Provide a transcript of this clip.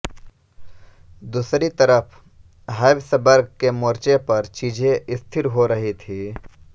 दूसरी तरफ हैब्सबर्ग के मोर्चे पर चीजें स्थिर हो रही थी